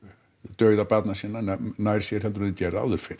dauða barna sinna nær sér en þeir gerðu áður fyrr